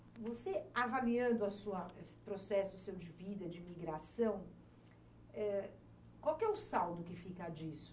E você avaliando a sua, esse processo de vida, de migração, eh, qual é o saldo que fica disso?